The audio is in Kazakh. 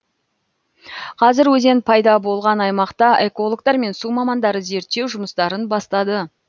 қазір өзен пайда болған аймақта экологтар мен су мамандары зерттеу жұмыстарын бастады